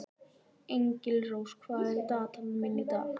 Engilrós, hvað er á dagatalinu mínu í dag?